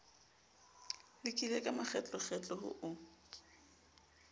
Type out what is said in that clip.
lekile ka makgetlokgetlo ho o